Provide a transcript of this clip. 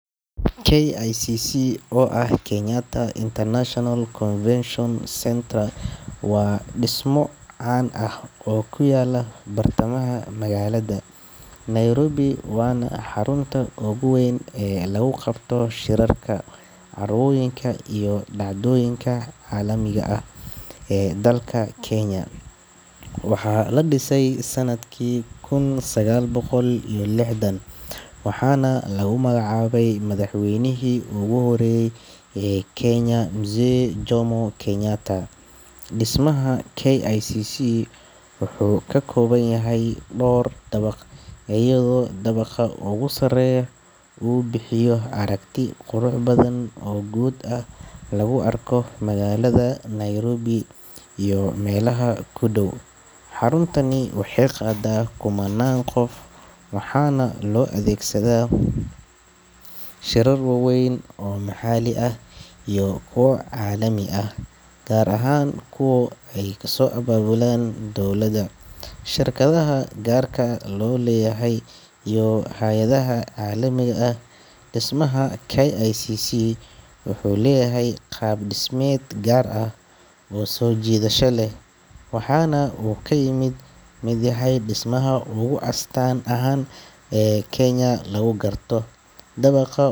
KICC oo ah Kenyatta International Convention Centre waa dhismo caan ah oo ku yaalla bartamaha magaalada Nairobi, waana xarunta ugu weyn ee lagu qabto shirarka, carwooyinka iyo dhacdooyinka caalamiga ah ee dalka Kenya. Waxaa la dhisay sanadkii kun sagaal boqol iyo lixdan, waxaana lagu magacaabay madaxweynihii ugu horreeyay ee Kenya, Mzee Jomo Kenyatta. Dhismaha KICC wuxuu ka kooban yahay dhowr dabaq, iyadoo dabaqa ugu sarreeya uu bixiyo aragti qurux badan oo guud oo laga arko magaalada Nairobi iyo meelaha ku dhow. Xaruntani waxay qaadaa kumannaan qof waxaana loo adeegsadaa shirar waaweyn oo maxalli ah iyo kuwo caalami ah, gaar ahaan kuwa ay soo abaabulaan dowladda, shirkadaha gaarka loo leeyahay iyo hay’adaha caalamiga ah. Dhismaha KICC wuxuu leeyahay qaab dhismeed gaar ah oo soo jiidasho leh, waxaana uu ka mid yahay dhismayaasha ugu astaan ahaan badan ee Kenya lagu garto. Dabaqa.